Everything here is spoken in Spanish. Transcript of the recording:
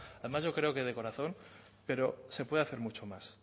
además yo creo que de corazón pero se puede hacer mucho más